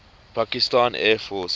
pakistan air force